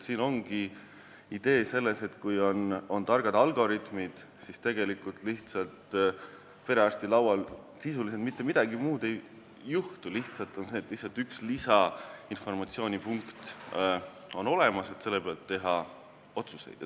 Siin ongi idee selles, et kui on targad algoritmid, siis perearsti laual sisuliselt mitte midagi muud ei juhtu kui lihtsalt see, et on üks lisainformatsioon, mille pealt teha otsuseid.